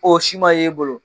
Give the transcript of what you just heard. o si ma ye e bolo